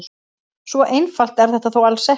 Svo einfalt er þetta þó alls ekki.